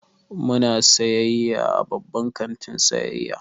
Muna sayayya a babban kantin sayayya.